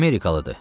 Amerikalıdır.